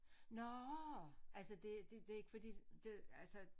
Nårh altså det det ikke fordi det altså